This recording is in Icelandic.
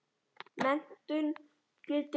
Menntun getur breytt því.